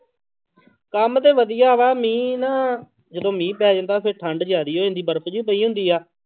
ਕੰਮ ਤੇ ਵਧੀਆ ਵਾ ਮੀਂਹ ਨਾ ਜਦੋਂ ਮੀਂਹ ਪੈ ਜਾਂਦਾ ਫਿਰ ਠੰਢ ਜ਼ਿਆਦੇ ਹੋ ਜਾਂਦੀ, ਬਰਫ਼ ਜਿਹੀ ਪਈ ਹੁੰਦੀ ਆ।